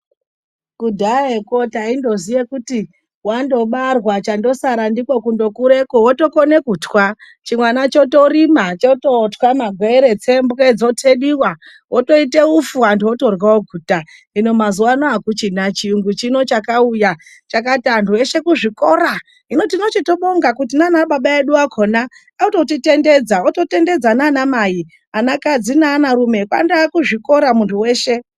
Kudhayeko taindoziya kuti wandobarwa, chandosara ndiko kundokureko wotokone kuthwa. Chimwana chotorima, chotothwa magwere , tsembwe dzothediwa wotoite uswa anthu otorya oguta. Hino mazuwa ano akuchina, chiyungu chakauya chakati anthu eshe kuzvikora. Hino tinotozvibonga ngekuti nanababa akhona ototitendedza, otendedza nana mai akhona ana kadzi neana rume kwandowa kuzvikora munthu weshe.